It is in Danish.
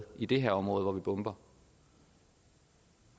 i det her område hvor vi bomber